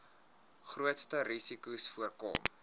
grootste risikos voorkom